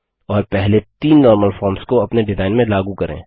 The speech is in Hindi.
और पहले तीन नॉर्मल फॉर्म्स को अपने डिजाइन में लागू करें